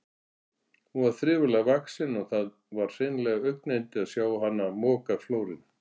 Hún var þriflega vaxin og það var hreinlega augnayndi að sjá hana moka flórinn.